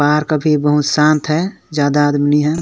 पार्क अभी बहुत शांत है ज्यादा आदमी नही हैं।